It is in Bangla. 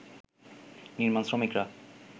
নির্মাণ শ্রমিকরা